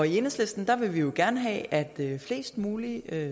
enhedslisten vil vi jo gerne have at flest mulige